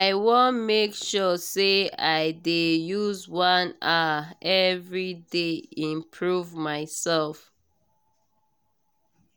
i wan make sure say i dey use one hour every day improve myself.